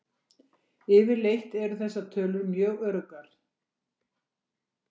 Yfirleitt eru þessar tölur mjög öruggar.